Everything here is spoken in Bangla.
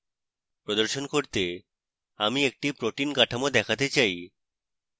প্রদর্শন করতে আমি একটি protein কাঠামো দেখাতে চাই